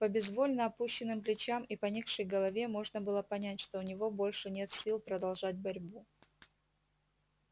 по безвольно опущенным плечам и поникшей голове можно было понять что у него больше нет сил продолжать борьбу